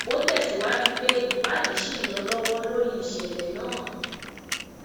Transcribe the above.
ó tẹsíwájú pé ìwádìí ṣì ń lọ lọwọ lórí ìṣẹlẹ náà